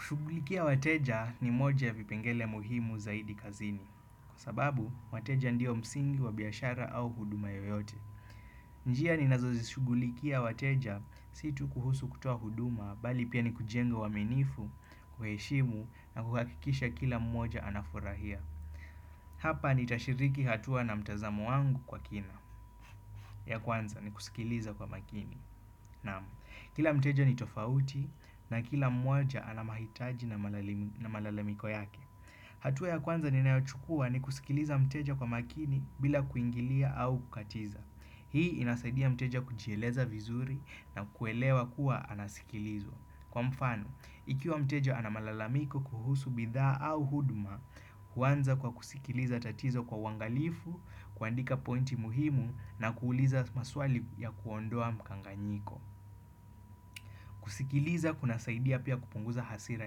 Shugulikia wateja ni moja vipengele muhimu zaidi kazini. Kwa sababu, wateja ndio msingi wa biashara au huduma yoyote. Njia ninazozi shugulikia wateja situ kuhusu kutoa huduma bali pia ni kujengo uaminifu, kuheshimu na kukakikisha kila mmoja anafurahia. Hapa ni tashiriki hatua na mtazamo wangu kwa kina. Ya kwanza ni kusikiliza kwa makini. Naamu, kila mteja ni tofauti na kila mwaja anamahitaji na malalemiko yake. Hatuwa ya kwanza ninaachukua ni kusikiliza mteja kwa makini bila kuingilia au kukatiza. Hii inasaidia mteja kujieleza vizuri na kuelewa kuwa anasikilizwa. Kwa mfano, ikiwa mteja anamalalamiko kuhusu bidha au huduma, huwanza kwa kusikiliza tatizo kwa wangalifu, kuandika pointi muhimu na kuuliza maswali ya kuondoa mkanganyiko. Kusikiliza kuna saidia pia kupunguza hasira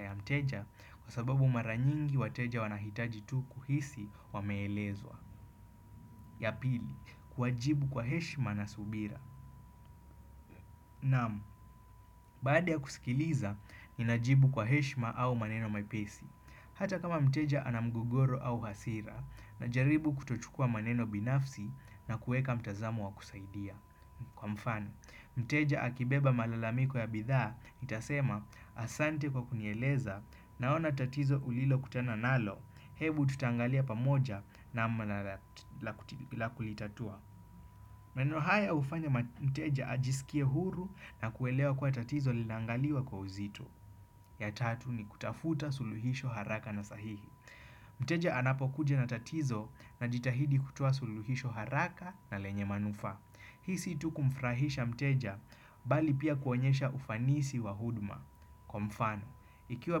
ya mteja kwa sababu maranyingi wateja wanahitaji tu kuhisi wameelezwa. Ya pili, kuwajibu kwa heshima na subira. Naam, baada ya kusikiliza, ninajibu kwa heshima au maneno maipesi. Hata kama mteja anamgugoro au hasira na jaribu kutuchukua maneno binafsi na kueka mtazamu wakusaidia. Kwa mfano, mteja akibeba malalamiko ya bidhaa, nitasema asante kwa kunyeleza na ona tatizo ulilo kutana nalo, hebu tutangalia pamoja namna la kulitatua. Meneno haya hufanya mteja ajisikie huru na kuelewa kwa tatizo linangaliwa kwa uzito ya tatu ni kutafuta suluhisho haraka na sahihi. Mteja anapokuja na tatizo na jitahidi kutua suluhisho haraka na lenye manufa. Hii si tu kumfrahisha mteja, bali pia kuonyesha ufanisi wa huduma. Kwa mfano, ikiwa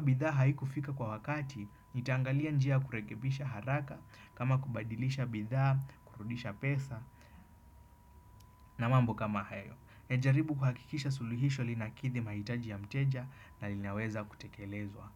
bidha haiku fika kwa wakati, nitangalia njia kurekebisha haraka, kama kubadilisha bidha, kurudisha pesa, na mambo kama hayo. Nejaribu kuhakikisha suluhisho linakidhi maitaji ya mteja na linaweza kutekelezwa.